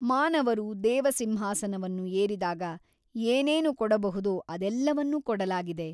ಮಾನವರು ದೇವಸಿಂಹಾಸನವನ್ನು ಏರಿದಾಗ ಏನೇನು ಕೊಡಬಹುದೋ ಅದೆಲ್ಲವನ್ನೂ ಕೊಡಲಾಗಿದೆ.